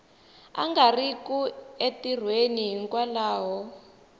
a nga riki entirhweni hikwalaho